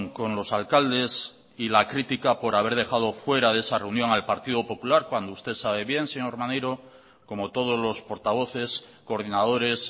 con los alcaldes y la crítica por haber dejado fuera de esa reunión al partido popular cuando usted sabe bien señor maneiro como todos los portavoces coordinadores